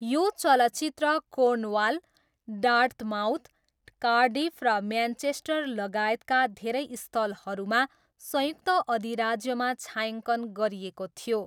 यो चलचित्र Cornwall, Dartmouth, Cardiff र म्यानचेस्टर लगायतका धेरै स्थलहरूमा संयुक्त अधिराज्यमा छायाङ्कन गरिएको थियो।